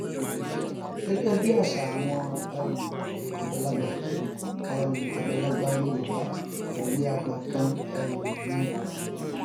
gẹgẹ bí àṣà àwọn um àgbàlagbà um àgbàlagbà yorùbá òwe àgbà kan um ni